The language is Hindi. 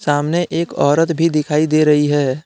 सामने एक औरत भी दिखाई दे रही है।